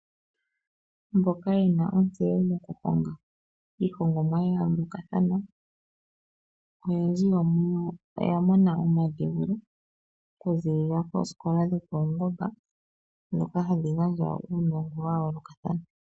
Mboka yena ontseyo moku honga iihongomwa ya yoolokathana, oyendji yo muyo oya mona omadhewulo, okuzilila koosikola dhopaungomba, dhoka hadhi gandja uunongo wa yoolokathana.